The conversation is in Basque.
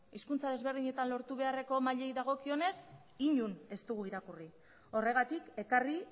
hizkuntza desberdinetan mailei dagokionez inon ez dugu irakurri horregatik ekarri